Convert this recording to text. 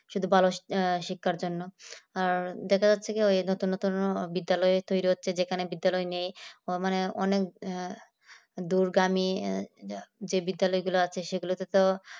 শুধু ভালো শিক্ষার জন্য আর দেখা যাচ্ছে কি ওই নতুন নতুন বিদ্যালয় তৈরি হচ্ছে যেখানে বিদ্যালয় নেই মানে অনেক দুর্গামি যে বিদ্যালয়গুলো আছে সেগুলোতে তো